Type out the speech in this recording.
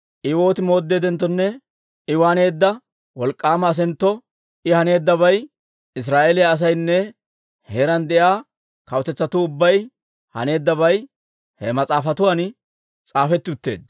I woot mooddeeddenttonne I waaneedda wolk'k'aama asaakko, I haneeddabay, Israa'eeliyaa asaynne heeraan de'iyaa kawutetsatuu ubbay haneeddabay he mas'aafatuwan s'aafetti utteedda.